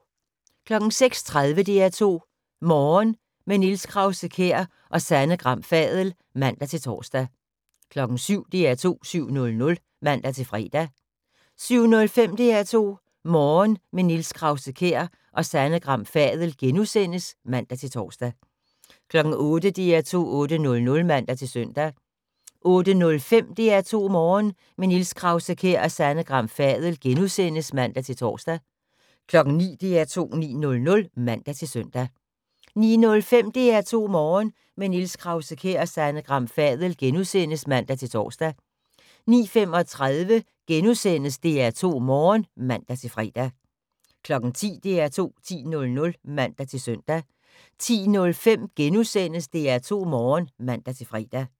06:30: DR2 Morgen – med Niels Krause-Kjær og Sanne Gram Fadel (man-tor) 07:00: DR2 7:00 (man-fre) 07:05: DR2 Morgen – med Niels Krause-Kjær og Sanne Gram Fadel *(man-tor) 08:00: DR2 8:00 (man-søn) 08:05: DR2 Morgen – med Niels Krause-Kjær og Sanne Gram Fadel *(man-tor) 09:00: DR2 9:00 (man-søn) 09:05: DR2 Morgen – med Niels Krause-Kjær og Sanne Gram Fadel *(man-tor) 09:35: DR2 Morgen *(man-fre) 10:00: DR2 10.00 (man-søn) 10:05: DR2 Morgen *(man-fre)